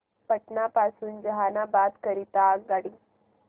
पटना पासून जहानाबाद करीता आगगाडी